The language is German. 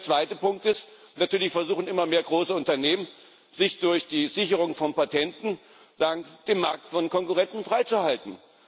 Der zweite Punkt ist Natürlich versuchen immer mehr große Unternehmen, sich durch die Sicherung von Patenten den Markt von Konkurrenten freizuhalten.